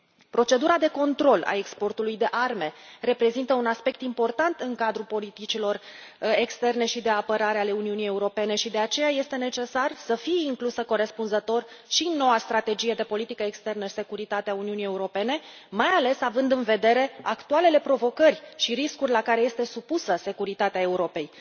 Procedura de control al exportului de arme reprezintă un aspect important în cadrul politicilor externe și de apărare ale Uniunii Europene și, de aceea, este necesar să fie inclusă corespunzător și noua strategie de politică externă și securitate a Uniunii Europene, mai ales având în vedere actualele provocări și riscuri la care este supusă securitatea Europei.